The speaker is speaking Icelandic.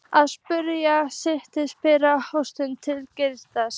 Að sumu leyti svipar goshegðun hans til Geysis.